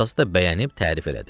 Atası da bəyənib tərif elədi.